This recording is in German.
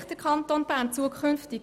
Wo sieht sich der Kanton zukünftig?